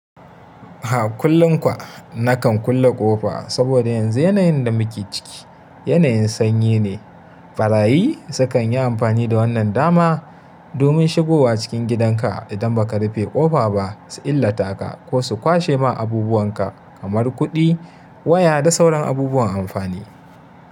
Ah, kullum kwa na kan kulle ƙofa saboda yanzu yanayin da muke ciki yanayin sanyi ne. Ɓarayi su kan yi amfani da wannan dama domin shigowa cikin gidanka idan ba ka rufe ƙofa ba su illata ka ko su kwashe ma abubuwan ka kamar kuɗi, waya da sauran abubuwan amfani.